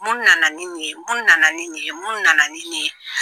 Mun nana ni nin ye? Mun nana ni nin ye? Mun nana ye ni nin ?